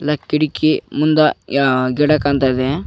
ಲ ಕಿಟಕಿ ಮುಂದ ಯ ಆ ಗಿಡ ಕಾಣ್ತಾದೆ.